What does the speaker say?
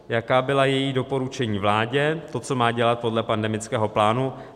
Jaká byla její doporučení vládě, to, co má dělat podle pandemického plánu?